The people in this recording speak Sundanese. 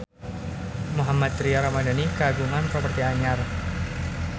Mohammad Tria Ramadhani kagungan properti anyar